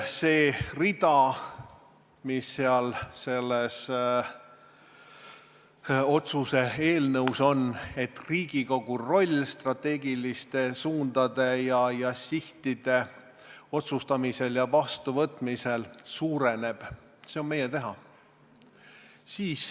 See rida, mis selles otsuse eelnõus on, et Riigikogu roll strateegiliste suundade ja sihtide otsustamisel ja vastuvõtmisel suureneb, on meie teha.